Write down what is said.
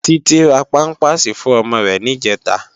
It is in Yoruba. Titi rá pàmpásí fún òmò rè nijètá